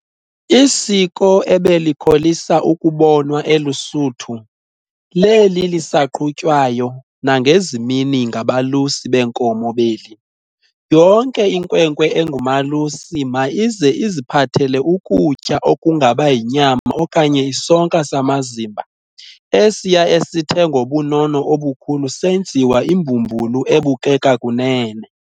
Isiko ebelikholisa ukubonwa eLusuthu, leli lisaqhutywayo nangezi mini ngabalusi beenkomo beli. Yonke inkwenkwe engumalusi ma ize iziphathele ukutya okungaba yinyama okanye isonka samazimba esiya esithe ngobunono obukhulu senziwa imbumbulu ebukeka kunene.